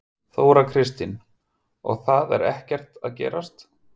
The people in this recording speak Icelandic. Þóra Kristín: Og það er ekkert að gerast?